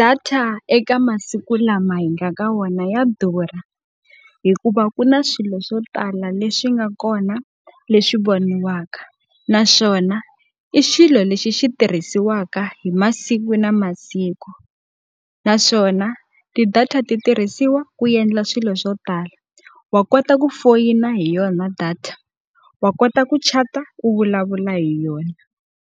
Data eka masiku lama hi nga ka wona ya durha, hikuva ku na swilo swo tala leswi nga kona leswi voniwaka. Naswona i xilo lexi xi tirhisiwaka hi masiku na masiku. Naswona ti-data ti tirhisiwa ku endla swilo swo tala, wa kota ku foyina hi yona data, wa kota ku chat-a u vulavula hi yona,